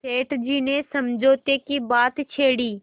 सेठ जी ने समझौते की बात छेड़ी